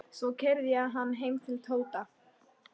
Svo keyrði ég hann heim til Tóta.